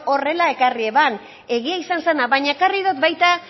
horrela ekarri zuen egia izan zena baina ekarri dut baita